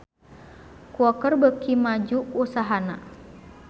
Quaker beuki maju usahana